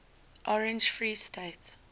orange free state